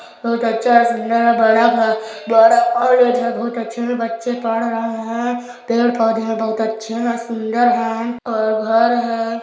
बहुत अच्छा है सुन्दर है बड़ा भ बड़ा कॉलेज है बहुत अच्छे से बच्चे पढ़ रहे है पेड़ - पौधे है बहुत अच्छे है सुन्दर है और घर हैं।